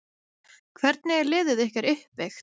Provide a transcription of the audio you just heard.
Hvernig er liðið ykkar uppbyggt?